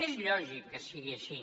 és lògic que sigui així